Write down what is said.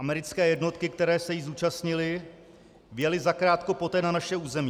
Americké jednotky, které se jí zúčastnily, vjely zakrátko poté na naše území.